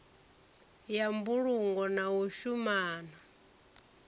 ya mbulungo na u shumana